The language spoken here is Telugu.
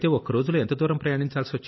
మరైతే మీరు ఒక్క రోజులో ఎంతదూరం